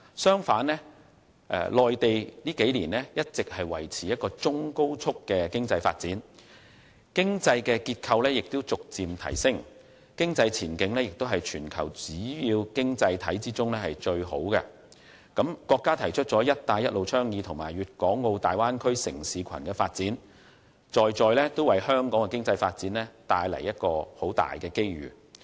相反，內地在這數年一直維持中高速的經濟發展，經濟結構逐漸提升，經濟前景也是全球主要經濟體中最好的，更提出了"一帶一路"倡議和粵港澳大灣區城市群發展，在在為香港的經濟發展帶來龐大機遇。